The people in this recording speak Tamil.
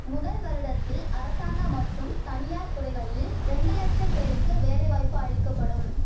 முதல் வருடத்தில் அரசாங்க மற்றும் தனியார் துறைகளில் ரெண்டு லட்சம் பேருக்கு வேலைவாய்ப்பு அளிக்க படும்